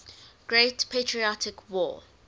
great patriotic war